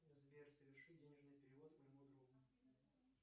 сбер соверши денежный перевод моему другу